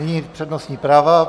Nyní přednostní práva.